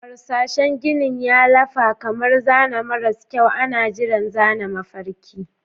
Harsashin ginin ya lafa kamar zane maras kyau, ana jiran zana mafarkai.